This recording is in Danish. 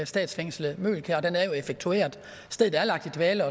statsfængslet møgelkær den er jo effektueret stedet er lagt i dvale